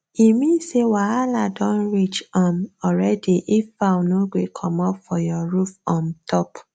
e mean say wahalah don reach um already if fowl no gree comot for your roof um top